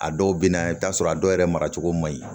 A dɔw bɛ na i bɛ t'a sɔrɔ a dɔw yɛrɛ maracogo man ɲi